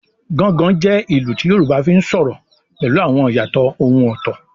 “Gangan” jẹ́ ìlù tí Yorùbá fi ń sọ̀rọ̀ pẹ̀lú àwọn ìyàtọ̀ ohùn ọ̀tọ̀.